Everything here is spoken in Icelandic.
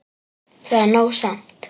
Það er nóg samt.